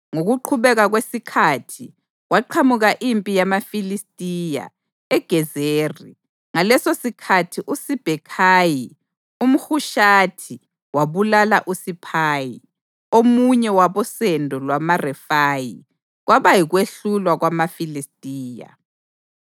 Ngokuqhubeka kwesikhathi, kwaqhamuka impi yamaFilistiya, eGezeri. Ngalesosikhathi uSibhekhayi umHushathi wabulala uSiphayi, omunye wabosendo lwamaRefayi kwaba yikwehlulwa kwamaFilistiya.